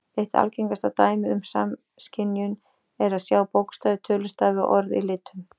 Eitt algengasta dæmið um samskynjun er að sjá bókstafi, tölustafi og orð í litum.